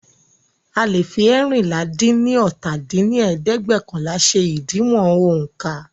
A leè fi eérinlá-dín-ní-ọ́ta dín ní ẹ̀ẹ́dẹ́gbẹ́ọ̀kànlá ṣe ìdiwọ̀n ońká